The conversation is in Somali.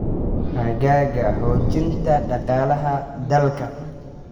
xagga xoojinta dhaqaalaha dalka.